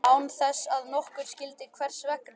Án þess að nokkur skildi hvers vegna.